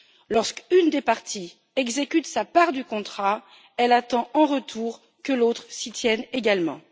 Lorsqu'une des parties exécute sa part du contrat, elle attend en retour que l'autre s'y tienne également.